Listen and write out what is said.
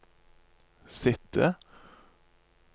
sitte